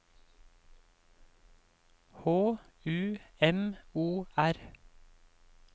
H U M O R